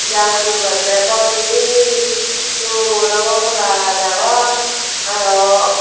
ja puribo okoree bol peye dol obo hola gaj agon aro.